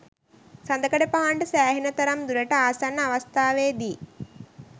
සඳකඩ පහණට සෑහෙන තරම් දුරට ආසන්න අවස්ථාවේදී